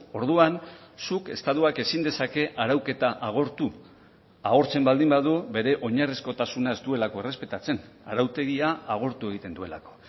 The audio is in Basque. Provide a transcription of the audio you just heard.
orduan zuk estatuak ezin dezake arauketa agortu agortzen baldin badu bere oinarrizkotasuna ez duelako errespetatzen arautegia agortu egiten duelako